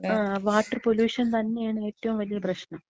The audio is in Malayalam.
ങാ, വാട്ടർ പൊലൂഷൻ തന്നെയാണ് ഏറ്റവും വലിയ പ്രശ്നം.